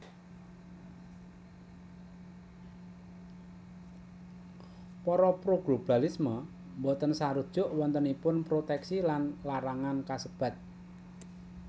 Para pro globalisme boten sarujuk wontenipun protèksi lan larangan kasebat